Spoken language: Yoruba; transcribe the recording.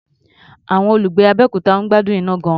Àwọn olùgbé Abẹ́òkuta ń gbádùn iná gan-an.